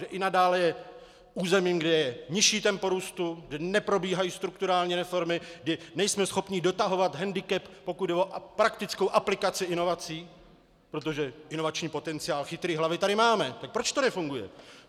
Že i nadále je územím, kde je nižší tempo růstu, kde neprobíhají strukturální reformy, kdy nejsme schopni dotahovat hendikep, pokud jde o praktickou aplikaci inovací, protože inovační potenciál, chytré hlavy tady máme, tak proč to nefunguje.